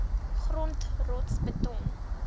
grond rots beton